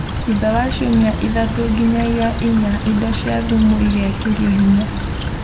thutha wa ciumia ithatũ nginyagia inya indo cia thumu igekerwi hinya